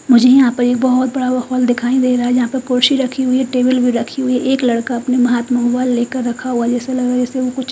मुझे यहां पर एक बहोत बड़ा हॉल दिखाई दे रहा है जहां पर कुर्सी रखी हुई है टेबल भी रखी हुई एक लड़का अपने हाथ में मोबाइल लेकर रखा हुआ जैसे लगा जैसे वो कुछ--